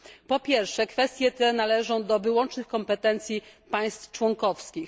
Po pierwsze, kwestie te należą do wyłącznych kompetencji państw członkowskich.